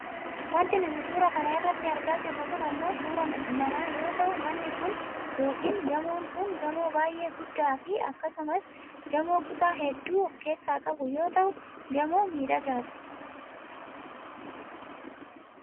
Wanti nuti suura kana irratti argaa jirru kun ammoo suuraa mana yoo ta'u manni kun yookaan gamoon kun gamoo baayyee guddaafi akkasumas gamoo kutaa hedduu of keessaa qabu yoo ta'u gamoo miidhagaa dha.